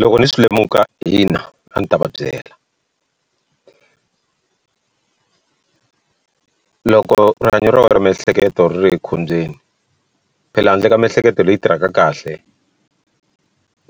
Loko ni swi lemuka hina a ni ta va byela loko rihanyo ra miehleketo ri ri ekhombyeni phela handle ka miehleketo leyi tirhaka kahle